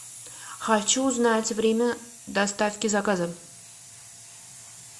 хочу узнать время доставки заказа